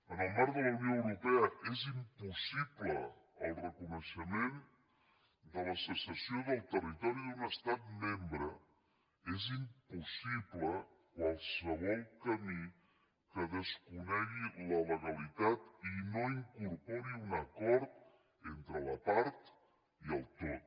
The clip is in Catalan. en el marc de la unió europea és impossible el reconeixement de la secessió del territori d’un estat membre és impossible qualsevol camí que desconegui la legalitat i no incorpori un acord entre la part i el tot